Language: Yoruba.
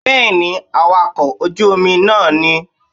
Bẹ́ẹ̀ni awakọ̀ ojú Omi náà ní